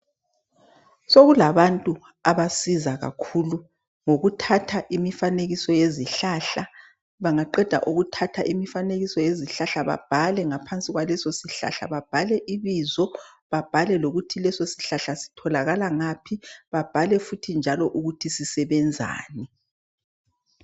Sokulabantu abasiza kakhulu ngokuthatha imifanekiso yezihlahla. Bangayithatha bayabhala ibizo laso , okutholakala khona lesosihlahla lokuthi sisebenzani.